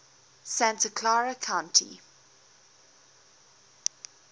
santa clara county